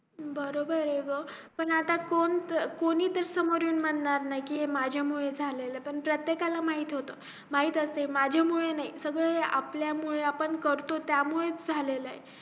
बरोबर य ग पण आता कोण कोणी ते समोर येऊन म्हणार नाही कि हे माझ्या मुळे झालाय पण प्रत्येकाला माहित होत माहित असेल माझ्या यामुळे नाही सगळे आपल्या मुले आपण जे करतो त्याच्यामुळे च झालेलं